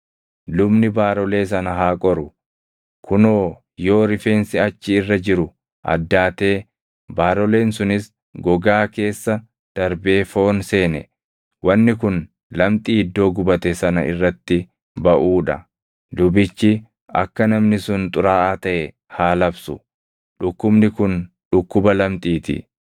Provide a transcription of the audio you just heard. lubni baarolee sana haa qoru; kunoo yoo rifeensi achi irra jiru addaatee baaroleen sunis gogaa keessa darbee foon seene wanni kun lamxii iddoo gubate sana irratti baʼuu dha. Lubichi akka namni sun xuraaʼaa taʼe haa labsu; dhukkubni kun dhukkuba lamxii ti.